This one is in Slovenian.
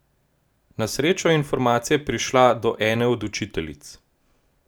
Na srečo je informacija prišla do ene od učiteljic.